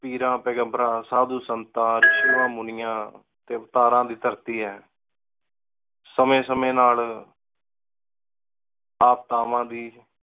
ਪੀਰਾਂ ਪੇਘਮ੍ਬ੍ਰਾਂ ਸਾਧੂ ਸੰਤਾਂ ਰਿਸ਼ੀਆਂ ਮੁਨੀਆਂ ਤੇ ਅਵਤਾਰਾਂ ਦੀ ਧਰਤੀ ਹੈ ਸਮੇ ਸਮੇ ਨਾਲ ਆਪਦਾਵਾਂ ਵੀ